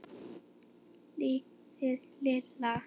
Liðið illa?